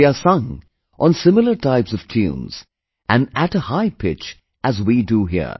They are sung on the similar type of tune and at a high pitch as we do here